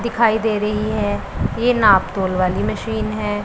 दिखाई दे रही है ये नापतोल वाली मशीन है।